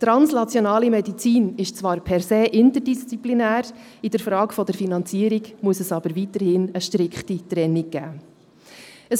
Translationale Medizin ist zwar per se interdisziplinär, in der Frage der Finanzierung muss es aber weiterhin eine strikte Trennung geben.